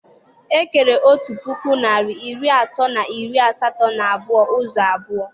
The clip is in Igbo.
E kere otu puku narị iri atọ na iri asatọ na abụọ ụzọ abụọ